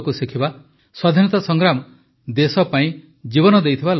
ସ୍ୱାଧୀନତା ସଂଗ୍ରାମଦେଶ ପାଇଁ ଜୀବନ ଦେଇଥିବା ଲୋକଙ୍କ କଥା